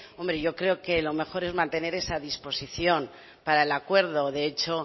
hombre yo creo que lo mejor es mantener esa disposición para el acuerdo de hecho